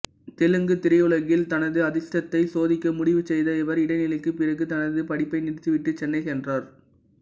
தெலுங்குத் திரையுலகில் தனது அதிர்ஷ்டத்தை சோதிக்க முடிவு செய்த இவர் இடைநிலைக்குப் பிறகு தனது படிப்பை நிறுத்திவிட்டு சென்னை சென்றார்